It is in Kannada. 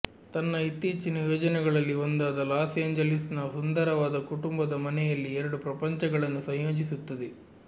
ತನ್ನ ಇತ್ತೀಚಿನ ಯೋಜನೆಗಳಲ್ಲಿ ಒಂದಾದ ಲಾಸ್ ಏಂಜಲೀಸ್ನ ಸುಂದರವಾದ ಕುಟುಂಬದ ಮನೆಯಲ್ಲಿ ಎರಡು ಪ್ರಪಂಚಗಳನ್ನು ಸಂಯೋಜಿಸುತ್ತದೆ